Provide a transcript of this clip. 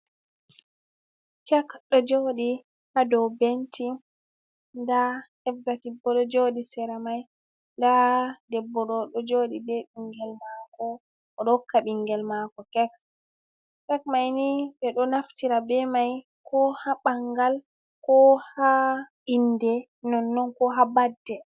Kek ɗo jooɗi haa dow benci, ndaa Exotic boo ɗo jooɗi sera may, ndaa debbo ɗo jooɗi bee binngel maako, o ɗo hokka binngel maako kek, kek may ni, ɓe ɗo naftira bee may koo haa ɓanngal, koo haa innde, non non koo haa badde.